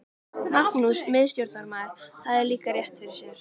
Magnús miðstjórnarmaður hafði líka rétt fyrir sér.